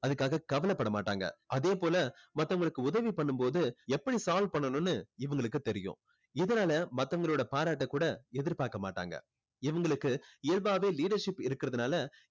அதுக்காக கவலைப்பட மாட்டாங்க. அதேபோல மத்தவங்களுக்கு உதவி பண்ணும் போது எப்படி solve பண்ணனுன்னு இவங்களுக்கு தெரியும். இதனால மத்தவங்களோட பாராட்ட கூட எதிர்பாக்க மாட்டாங்க. இவங்களுக்கு இயல்பாவே leadership இருக்கிறதுனால